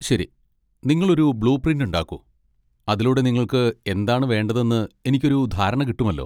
ശരി, നിങ്ങൾ ഒരു ബ്ലൂ പ്രിന്റ് ഉണ്ടാക്കൂ, അതിലൂടെ നിങ്ങൾക്ക് എന്താണ് വേണ്ടതെന്ന് എനിക്ക് ഒരു ധാരണ കിട്ടുമല്ലോ.